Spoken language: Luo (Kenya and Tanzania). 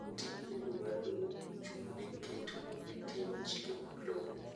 Tij lendo mar lowo ochung' ne keto e tim chike mag lowo